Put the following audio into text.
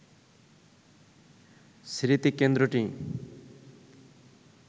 স্মৃতিকেন্দ্রটি